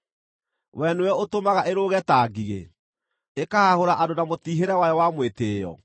Wee nĩwe ũtũmaga ĩrũũge ta ngigĩ, ĩkahahũra andũ na mũtiihĩre wayo wa mwĩtĩĩo?